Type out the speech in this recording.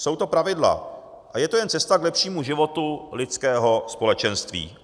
Jsou to pravidla a je to jen cesta k lepšímu životu lidského společenství.